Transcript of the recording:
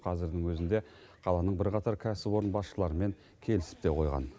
қазірдің өзінде қаланың бірқатар кәсіпорын басшыларымен келісіп те қойған